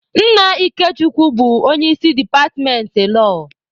Nna Ikechukwu bụ onye isi departmentị lọọ.